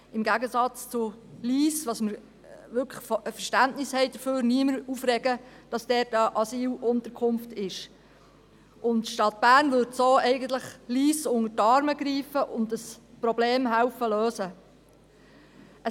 Im Gegensatz zu Lyss, wofür wir wirklich Verständnis haben, würde sich auch niemand darüber aufregen, dass dort eine Asylunterkunft ist, und die Stadt Bern würde so eigentlich auch Lyss unter die Arme greifen und das Problemen lösen helfen.